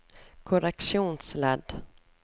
korreksjonsledd